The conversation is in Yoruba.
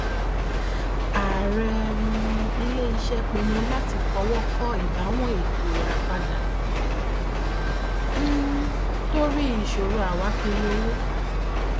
ààrẹ um iléiṣẹ pinnu láti fi ọwọ kọ ìbáwọn ètò ìràpadà um torí ìṣòro àwákírí owó